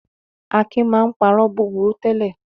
Akin máa ń parọ́ búburú tẹ́lẹ̀.